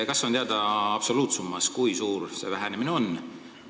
Kas on teada absoluutsummas, kui suur see vähenemine on?